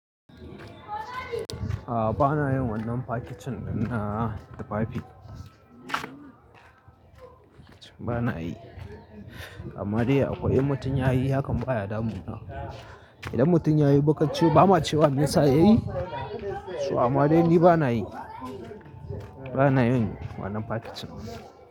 Bana yin wannan fakicin ɗin na tufafi bana yi. Amma dai akwai in mutum ya yi hakan baya damuna. Idan mutum ya yi, ba ma cewa me yasa ya yi. Amma dai ni bana yi. Bana yin wannan packaging.